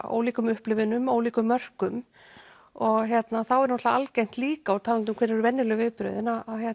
ólíkum upplifunum ólíkum mörkum og þá er náttúrulega algengt líka og talandi um hver eru venjuleg vinnubrögð að